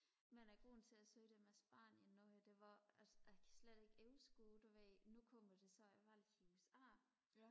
men grunden til jeg sagde det med spanien nu her det var jeg kan slet ikke overskue du ved nu kommer der snart valg i usa